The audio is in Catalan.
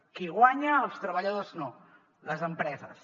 qui hi guanya els treballadors no les empreses